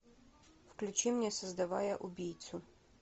включи мне создавая убийцу